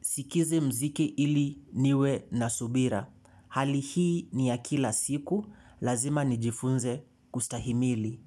sikizi mziki ili niwe na subira. Hali hii ni ya kila siku, lazima nijifunze kustahimili.